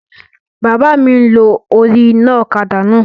Bàbá mi n lo orí iná ọ̀kadà náà